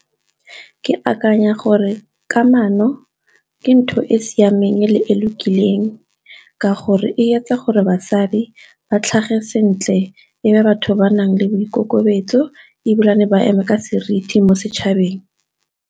Ke akanya gore kamano ke ke ntho e siameng le e lokileng ka gore e etsa gore basadi ba tlhage sentle e be batho ba nale boikokobetso, ba eme ka seriti mo setšhabeng.